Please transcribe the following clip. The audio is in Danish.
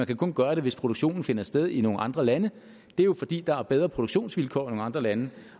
kan gøre det hvis produktionen finder sted i nogle andre lande det er jo fordi der er bedre produktionsvilkår i andre lande